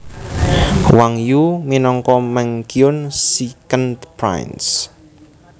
Wang Yu minangka Meng Qiyun Secend prince